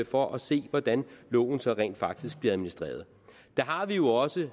for at se hvordan loven så rent faktisk bliver administreret der har vi jo også